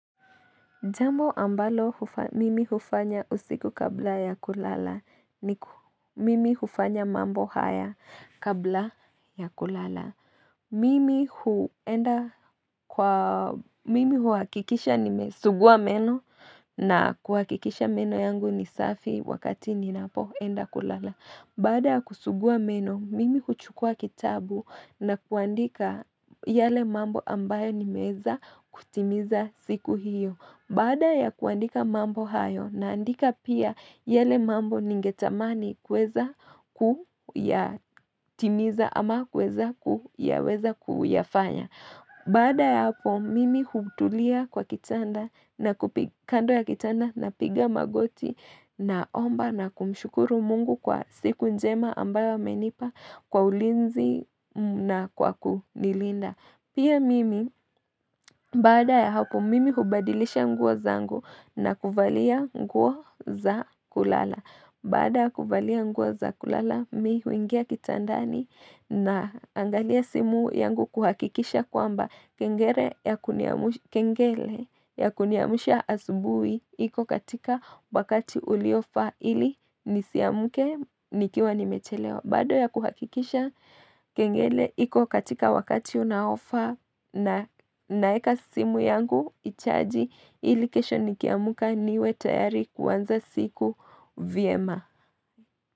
Jambo ambalo mimi hufanya usiku kabla ya kulala ni mimi hufanya mambo haya kabla ya kulala. Mimi huhakikisha nimesugua meno na kuhakikisha meno yangu ni safi wakati ninapoenda kulala. Baada ya kusugua meno, mimi huchukua kitabu na kuandika yale mambo ambayo nimeweza kutimiza siku hiyo. Baada ya kuandika mambo hayo naandika pia yale mambo ningetamani kuweza kuyatimiza ama kuweza kuyafanya. Baada ya hapo mimi hutulia kwa kitanda na kando ya kitanda napiga magoti, naomba na kumshukuru mungu kwa siku njema ambayo amenipa, kwa ulinzi na kwa kunilinda. Pia mimi, baada ya hapo mimi hubadilisha nguo zangu na kuvalia nguo za kulala. Baada ya kuvalia nguo za kulala, mimi huingia kitandani naangalia simu yangu kuhakikisha kwamba kengele ya kuniamsha asubuhi iko katika wakati uliofaa ili nisiamke nikiwa nimechelewa. Baada ya kuhakikisha kengele iko katika wakati unaofaa na naeka simu yangu, ichaji ili kesho nikiamka niwe tayari kuanza siku vyema.